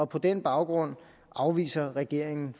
på den baggrund afviser regeringen